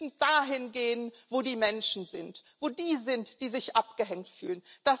Wir müssen dahin gehen, wo die Menschen sind, wo die sind, die sich abgehängt fühlen.